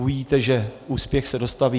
Uvidíte, že úspěch se dostaví.